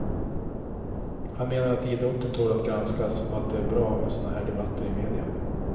Han menar att idrotten tål att granskas att att det är bra med såna här debatter i media.